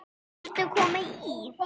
Viltu koma í?